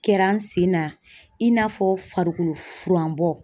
Kɛra n sen na, i n'a fɔ farikolo furan bɔ.